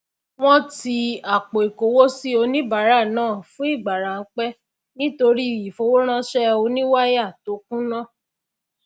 wọn ti àpòikowosi oníbàárà náà fún ìgbà rámpẹ nítorí ìfowóránṣẹ oníwáyà tó kùnà